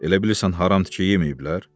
Elə bilirsən haram tikə yeməyiblər?